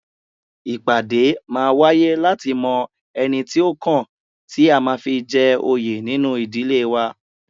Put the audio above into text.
Ìpàdé máa wáyé láti mọ ẹni tí ó kàn tí a máa fi jẹ òye nínu ìdílé wa